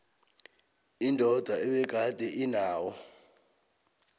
indoda ebegade inawo